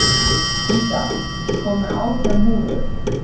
Ída, ég kom með átján húfur!